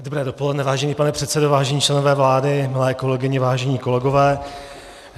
Dobré dopoledne, vážený pane předsedo, vážení členové vlády, milé kolegyně, vážení kolegové.